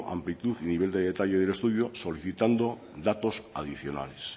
amplitud y nivel de detalle del estudio solicitando datos adicionales